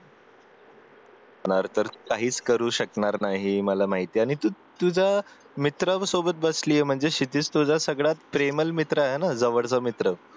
जाणार तर काहीच करू शकणार नाही मला माहितेय आणि तू तू तुझा मित्रांसोबत बसलीये म्हणजे क्षितिज तुझा सगळ्यात प्रेमल मित्र आहे ना जवळचा मित्र